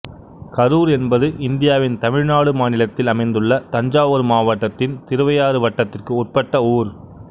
கரூர் என்பது இந்தியாவின் தமிழ்நாடு மாநிலத்தில் அமைந்துள்ள தஞ்சாவூர் மாவட்டத்தின் திருவையாறு வட்டத்திற்கு உட்பட்ட ஊர்